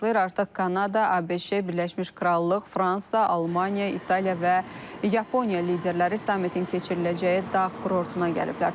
Artıq Kanada, ABŞ, Birləşmiş Krallıq, Fransa, Almaniya, İtaliya və Yaponiya liderləri sammitin keçiriləcəyi dağ kurortuna gəliblər.